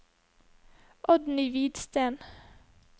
Oddny Hvidsten